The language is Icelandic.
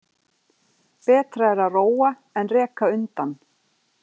Betra er að róa en reka undan.